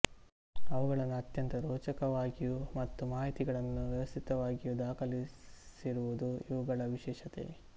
ಅವುಗಳನ್ನು ಅತ್ಯಂತ ರೋಚಕವಾಗಿಯೂ ಮತ್ತು ಮಾಹಿತಿಗಳನ್ನು ವ್ಯವಸ್ಥಿತವಾಗಿಯೂ ದಾಖಲಿಸಿರುವುದು ಇವುಗಳ ವಿಶೇಷತೆ